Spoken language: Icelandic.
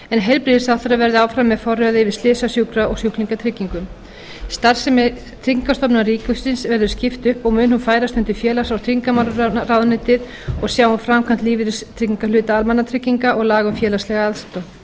heilbrigðisráðherra verði áfram með forræði yfir slysa sjúkra og sjúklingatryggingum starfsemi tryggingastofnunar ríkisins verður skipt upp og mun hún færast undir félags og tryggingamálaráðuneytið og sjá um framkvæmd lífeyristryggingahluta almannatrygginga og laga um félagslega aðstoð